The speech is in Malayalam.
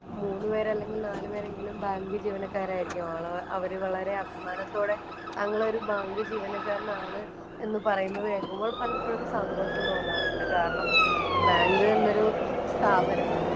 മൂന്നുപേര്, അല്ലെങ്കില്‍ നാലുപേരെങ്കിലും ബാങ്കില്‍ ജീവനക്കാരായിരിക്കും. അവള് അവര് വളരെ അഭിമാനത്തോടെ തങ്ങള്‍ ഒരു ബാങ്ക് ജീവനക്കാരനാണ് എന്ന് പറയുന്നത് കേള്‍ക്കുമ്പോള്‍ പലപ്പോഴും സന്തോഷം തോന്നാറുണ്ട്. കാരണം, ബാങ്ക് എന്നൊരു സ്ഥാപനം